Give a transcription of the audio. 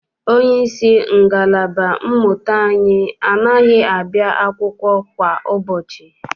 Onyeisi ngalaba mmụta anyị anaghị abịa akwụkwọ kwa ụbọchị.